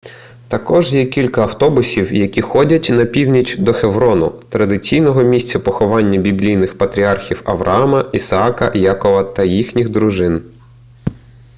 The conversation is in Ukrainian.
також є кілька автобусів які ходять на північ до хеврону традиційного місця поховань біблійних патріархів авраама ісаака якова та їхніх дружин